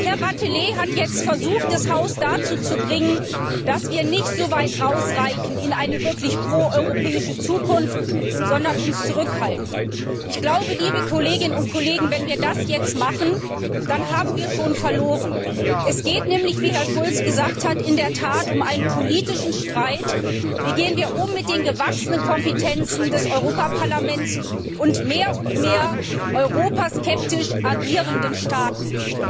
Herr Wathelet hat jetzt versucht, das Haus dazu zu bringen, dass wir nicht so weit voranschreiten in eine wirklich pro europäische Zukunft, sondern uns zurückhalten. Wenn wir das jetzt machen, dann haben wir schon verloren. Es geht nämlich wie Herr Schulz gesagt hat in der Tat um einen politischen Streit Wie gehen wir mit den gewachsenen Kompetenzen des Europaparlaments und mehr und mehr europaskeptisch agierenden Staaten um?